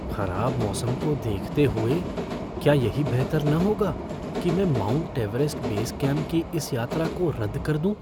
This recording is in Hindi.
खराब मौसम को देखते हुए, क्या यही बेहतर न होगा कि मैं माउंट एवरेस्ट बेस कैम्प की इस यात्रा को रद्द कर दूँ?